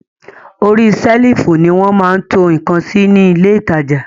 Orí sẹ́lìfù ni wọ́n máa ń to ǹkan sí ní ilé ìtajà